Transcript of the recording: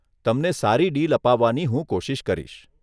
તમને સારું ડીલ અપાવવાની હું કોશિશ કરીશ.